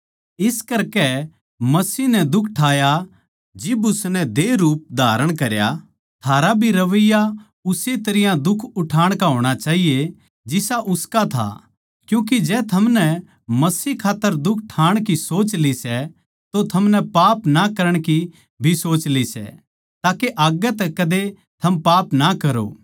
इस करकै मसीह नै दुख ठाया जिब उसनै देह रूप धारण करया थारा भी रविया उस्से तरियां दुख उठाण का होणा चाहिए जिसा उसका था क्यूँके जै थमनै मसीह खात्तर दुख ठाण की सोच ली सै तो थमनै पाप ना करण की भी सोच ली सै ताके आग्गै तै कदे थम पाप ना करो